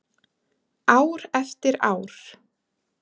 Ár eftir ár.